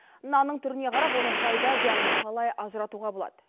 нанның түріне қарап оның пайда зиянын қалай ажыратуға болады